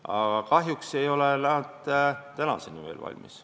Aga kahjuks ei ole need ikka veel valmis.